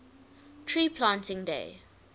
tree planting day